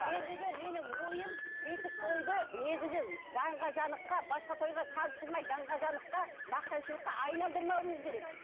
ендігі менің ойым бесік тойды негізі даңғазалыққа басқа тойға салыстырмай даңғазалыққа мақтаншылыққа айналдырмауымыз керек